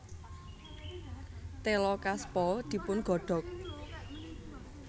Téla kaspa dipun godhog